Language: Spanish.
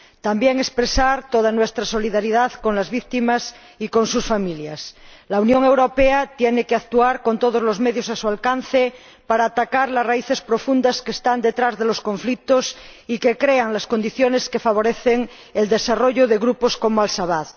también expresar toda nuestra solidaridad con las víctimas y con sus familias. La Unión Europea tiene que actuar con todos los medios a su alcance para atacar las raíces profundas que están detrás de los conflictos y que crean las condiciones que favorecen el desarrollo de grupos como Al Shabab.